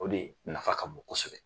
O de nafa ka bon kosɛbɛ.